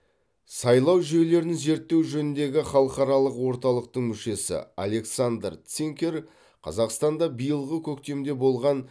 сайлау жүйелерін зерттеу жөніндегі халықаралық орталықтың мүшесі александр цинкер қазақстанда биылғы көктемде болған